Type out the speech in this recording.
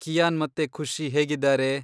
Qian ಮತ್ತೆ ಖುಷಿ ಹೇಗಿದಾರೆ?